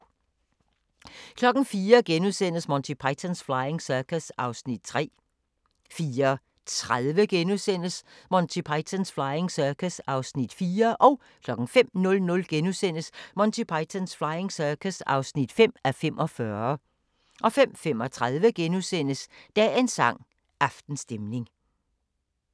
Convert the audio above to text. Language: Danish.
04:00: Monty Python's Flying Circus (3:45)* 04:30: Monty Python's Flying Circus (4:45)* 05:00: Monty Python's Flying Circus (5:45)* 05:35: Dagens sang: Aftenstemning *